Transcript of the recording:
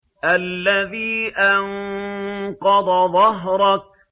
الَّذِي أَنقَضَ ظَهْرَكَ